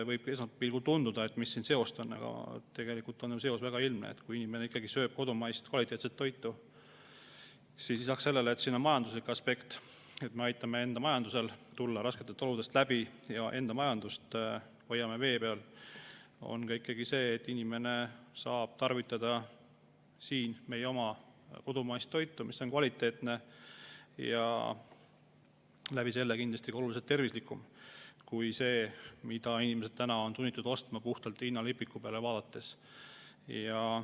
Võib esmapilgul tunduda, et mis seos siin on, aga tegelikult on seos väga ilmne: kui inimene sööb kodumaist kvaliteetset toitu, siis lisaks majanduslikule aspektile, et me aitame enda majandusel rasketest oludest läbi tulla ja hoiame enda majandust vee peal, on ikkagi see, et inimene saab tarvitada meie oma kodumaist toitu, mis on kvaliteetne ja tänu sellele kindlasti oluliselt tervislikum kui see, mida inimesed on sunnitud ostma puhtalt hinnalipiku peale vaadates.